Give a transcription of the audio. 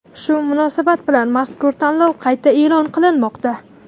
Shu munosabat bilan mazkur tanlov qayta e’lon qilinmoqda.